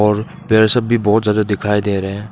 और पेड़ सब भी बहुत ज्यादा दिखाई दे रहे हैं।